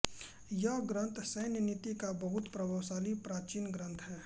यह ग्रन्थ सैन्यनीति का बहुत प्रभावशाली प्राचीन ग्रंथ है